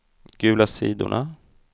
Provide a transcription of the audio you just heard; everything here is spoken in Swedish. gula sidorna